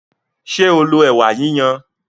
Ṣé o lo ẹ̀wà yiyan?